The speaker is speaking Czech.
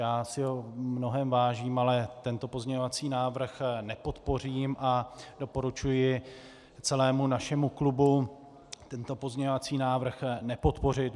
Já si ho v mnohém vážím, ale tento pozměňovací návrh nepodpořím a doporučuji celému našemu klubu tento pozměňovací návrh nepodpořit.